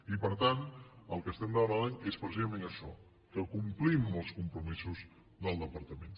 i per tant el que demanem és precisament això que complim amb els compromisos del departament